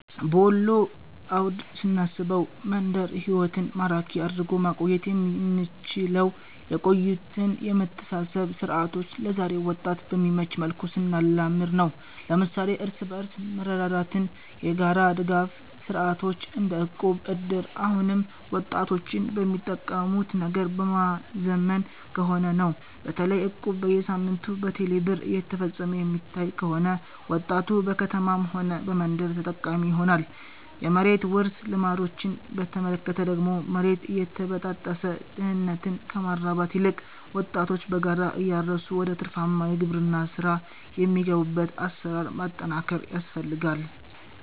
በወሎ አውድ ስናስበው፣ መንደር ህይወትን ማራኪ አድርጎ ማቆየት የምንችለው የቆዩትን የመተሳሰር ሥርዓቶች ለዛሬው ወጣት በሚመች መልኩ ስናላምድ ነው። ለምሳሌ እርስ በርስ መረዳዳትና የጋራ ድጋፍ ሥርዓቶች - እንደ እቁብ፣ እድር - አሁንም ወጣቶችን በሚጠቀሙት ነገር በማዘመን ከሆነ ነው። በተለይ እቁብ በየሳምንቱ በቴሌ ብር እየተፈፀመ የሚታይ ከሆነ፣ ወጣቱ በከተማም ሆነ በመንደር ተጠቃሚ ይሆናል። የመሬት ውርስ ልማዶችን በተመለከተ ደግሞ፣ መሬት እየተበጣጠሰ ድህነትን ከማራባት ይልቅ ወጣቶች በጋራ እያረሱ ወደ ትርፋማ የግብርና ሥራ የሚገቡበትን አሰራር ማጠናከር ያስፈልጋል